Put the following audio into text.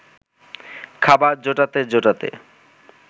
খাবার জোটাতে জোটাতে